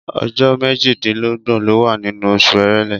Ọjọ́ méjìdínlọ́gbọ̀ ló wà nínú oṣù Èrèlé.